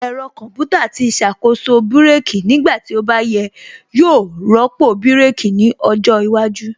Ẹ̀rọ Kọmputa tí ṣàkóso brake nígbà tí ó bá yẹ yóò rọ́pò bírèkī ní ọjọ́ iwájú